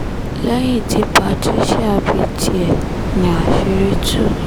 lẹ́yìn tí patricia bí tiẹ̀ ní àṣírí tú